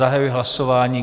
Zahajuji hlasování.